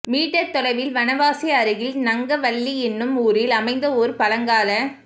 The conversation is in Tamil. மீட்டர் தொலைவில் வனவாசி அருகில் நங்கவள்ளி என்னும் ஊரில் அமைந்த ஓர் பழங்கால